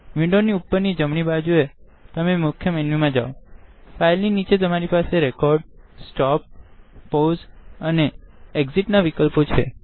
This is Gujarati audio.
વિન્ડો ની ઉપર તમે જમણી બાજુએ મુખ્ય વિન્ડો પર જાઓ ફાઈલ ની નીચે તમરી પાસે રેકોર્ડ સ્ટોપ પૌસે અને એક્સિટ ના વિકલ્પો છે